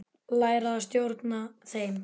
Læra að stjórna þeim.